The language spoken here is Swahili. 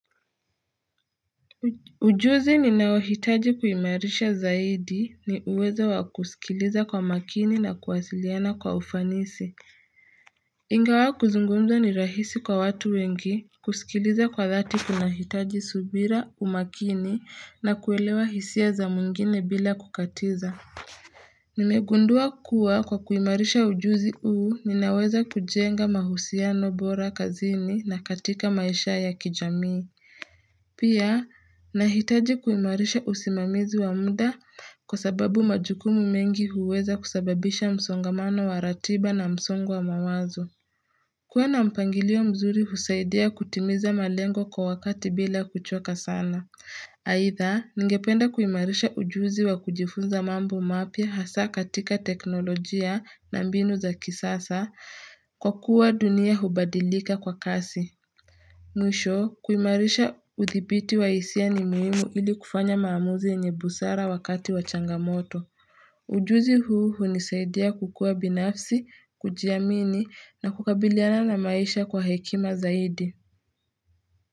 Ujuzi ninaohitaji kuimarisha zaidi ni uwezo wa kusikiliza kwa makini na kuwasiliana kwa ufanisi Ingawa kuzungumza ni rahisi kwa watu wengi kusikiliza kwa thati kunahitaji subira umakini na kuelewa hisia za mwingine bila kukatiza Nimegundua kuwa kwa kuimarisha ujuzi uu ninaweza kujenga mahusiano bora kazini na katika maisha ya kijamii Pia, nahitaji kuimarisha usimamizi wa mda kwa sababu majukumu mengi huweza kusababisha msongamano wa ratiba na msongo wa mawazo. Kuwa na mpangilio mzuri husaidia kutimiza malengo kwa wakati bila kuchoka sana Haitha, ningependa kuimarisha ujuzi wa kujifunza mambo mapya hasa katika teknolojia na mbinu za kisasa kwa kuwa dunia hubadilika kwa kasi Mwisho kuimarisha uthibiti wa hisia ni muhimu ili kufanya maamuzi yenye busara wakati wa changamoto. Ujuzi huu hunisaidia kukua binafsi, kujiamini na kukabiliana na maisha kwa hekima zaidi.